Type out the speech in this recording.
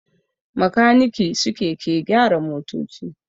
makaniki suke ke gyara motoci